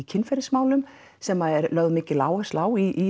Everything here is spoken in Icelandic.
kynferðismálum sem er lögð mikil áhersla á í